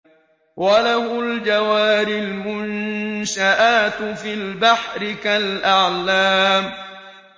وَلَهُ الْجَوَارِ الْمُنشَآتُ فِي الْبَحْرِ كَالْأَعْلَامِ